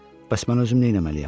Bəs mən özüm nə eləməliyəm?